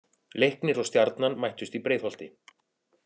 Leiknir og Stjarnan mættust í Breiðholti.